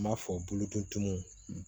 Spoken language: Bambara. N b'a fɔ bolo ko tumu